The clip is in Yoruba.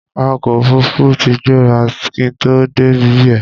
awakọ̀ òfurufú tí gbéra kí n tó dé ibẹ̀